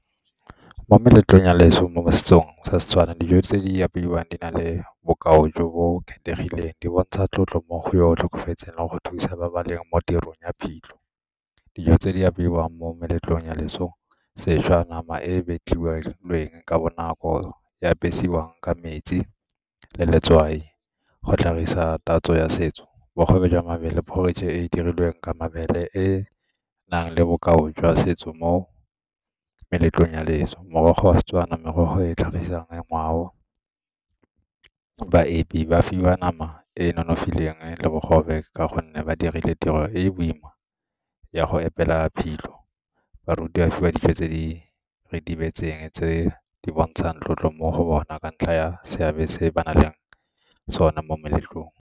Mo meletlong ya leso mo setsong sa Setswana, dijo tse apeiwang di na le bokao jo bo kgethegileng di bontsha tlotlo mo go tlhokofetseng go thusa mabaleng mo tirong ya phitlho. Dijo tse di apeiwang mo meletlong ya leso, sešwa nama e ka bonako ya ka metsi le letswai. Go tlhagisa tatso ya setso, bogobe jwa mabele e e dirilweng ka mabele e e nang le bokao jwa setso mo meletlong ya leso, morogo wa Setswana, merogo e e tlhagisang ngwao, baepi ba fiwa nama e e nonofileng le bogobe ka gonne ba dirile tiro e e boima ya go epela phitlho, baruti ba fiwa dijo tse di retibetseng tse di bontshang tlotlo mo go bona ka ntlha ya seabe se ba nang le sone mo meletlong.